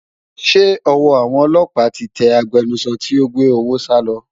Ṣé ọwọ́ àwọn ọlọ́pàá ti tẹ agbẹnusọ tí ó gbé owó sálọ?